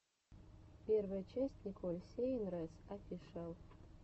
первая часть николь сейнрэс офишиал